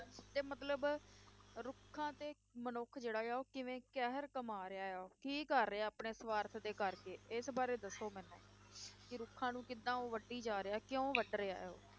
ਤੇ ਮਤਲਬ ਰੁੱਖਾਂ ਤੇ ਮਨੁੱਖ ਜਿਹੜਾ ਆ ਉਹ ਕਿਵੇਂ ਕਹਿਰ ਕਮਾ ਰਿਹਾ ਹੈ ਉਹ, ਕੀ ਕਰ ਰਿਹਾ ਆਪਣੇ ਸਵਾਰਥ ਦੇ ਕਰਕੇ ਇਸ ਬਾਰੇ ਦੱਸੋ ਮੈਨੂੰ, ਕਿ ਰੁੱਖਾਂ ਨੂੰ ਉਹ ਕਿੱਦਾਂ ਵੱਢੀ ਜਾ ਰਿਹਾ ਹੈ ਕਿਉਂ ਵੱਢ ਰਿਹਾ ਹੈ ਉਹ?